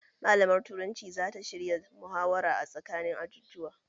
Malamar turanci zata shirya muhawara a tsakanin ajujuwa